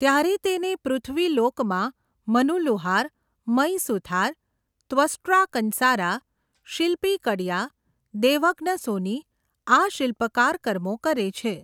ત્યારે તેને પૃથ્વીલોકમાં મનુ લુહાર, મય સુથાર, ત્વષ્ટ્રા કંસારા, શિલ્પી કડિયા, દૈવજ્ઞ સોની આ શિલ્પકાર કર્મો કરે છે.